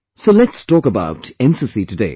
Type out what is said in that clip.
So let's talk about NCC today